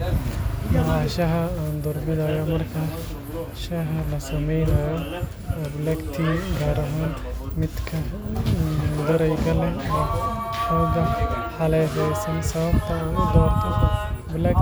Nooca shaaha ee aan doorbidayo marka shaah la sameynayo waa black tea, gaar ahaan midka madow. Sababta aan u doortay black